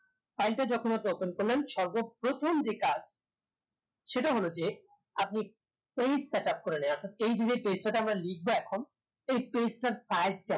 file টা যখন আপনি open করলেন সর্বপ্রথম যে কাজ সেটা হলো যে আপনি page set up করে নেয়া অর্থাৎ এই যে page টা তে আমরা লিখবো এখন এই page টার size কেমন